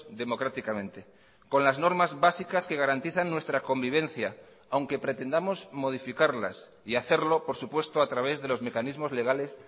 democráticamente con las normas básicas que garantizan nuestra convivencia aunque pretendamos modificarlas y hacerlo por supuesto a través de los mecanismos legales